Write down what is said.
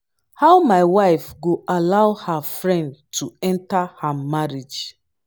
how my wife go allow her friend to enter her marriage